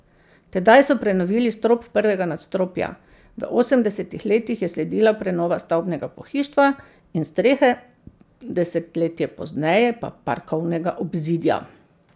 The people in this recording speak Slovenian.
Tedaj so prenovili strop prvega nadstropja, v osemdesetih letih je sledila prenova stavbnega pohištva in strehe, desetletje pozneje pa parkovnega obzidja.